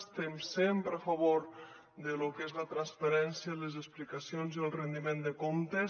estem sempre a favor de lo que és la transparència les explicacions i el rendiment de comptes